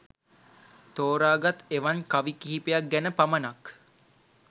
තෝරාගත් එවන් කවි කිහිපයක් ගැන පමණක්